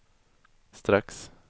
strax